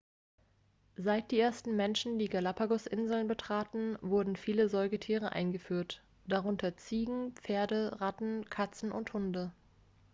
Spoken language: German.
seit die ersten menschen die galapagosinseln betraten wurden viele säugetiere eingeführt darunter ziegen pferde ratten katzen und hunde